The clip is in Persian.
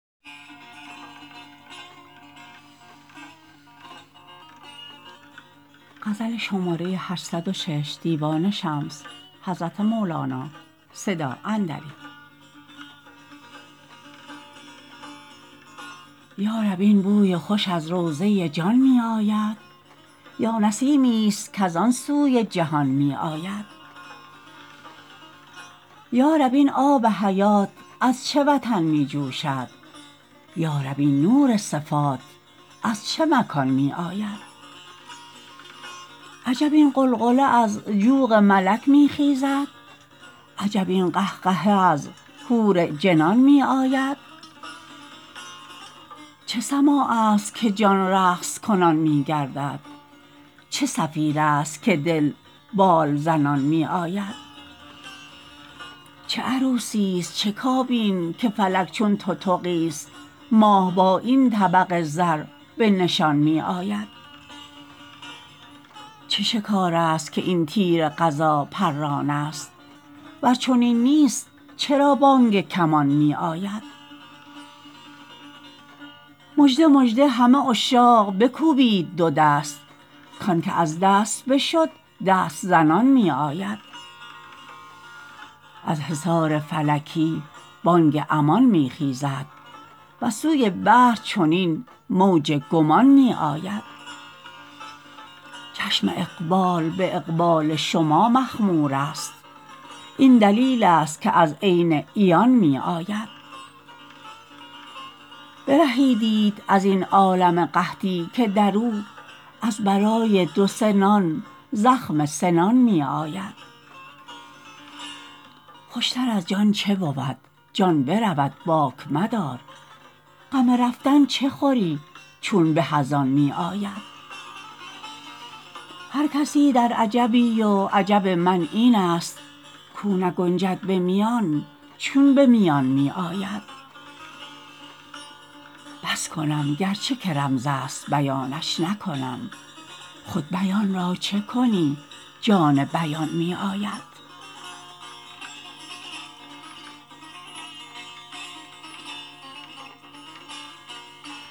یا رب این بوی خوش از روضه جان می آید یا نسیمیست کز آن سوی جهان می آید یا رب این آب حیات از چه وطن می جوشد یا رب این نور صفات از چه مکان می آید عجب این غلغله از جوق ملک می خیزد عجب این قهقهه از حور جنان می آید چه سماعست که جان رقص کنان می گردد چه صفیرست که دل بال زنان می آید چه عروسیست چه کابین که فلک چون تتقیست ماه با این طبق زر به نشان می آید چه شکارست که این تیر قضا پرانست ور چنین نیست چرا بانگ کمان می آید مژده مژده همه عشاق بکوبید دو دست کانک از دست بشد دست زنان می آید از حصار فلکی بانگ امان می خیزد وز سوی بحر چنین موج گمان می آید چشم اقبال به اقبال شما مخمورست این دلیلست که از عین عیان می آید برهیدیت از این عالم قحطی که در او از برای دو سه نان زخم سنان می آید خوشتر از جان چه بود جان برود باک مدار غم رفتن چه خوری چون به از آن می آید هر کسی در عجبی و عجب من اینست کو نگنجد به میان چون به میان می آید بس کنم گرچه که رمزست بیانش نکنم خود بیان را چه کنیم جان بیان می آید